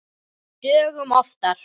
Dögum oftar.